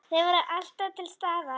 Þau voru alltaf til staðar.